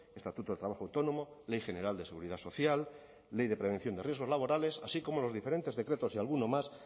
estatuto de trabajo autónomo ley general de seguridad social ley de prevención de riesgos laborales así como los diferentes decretos y alguno más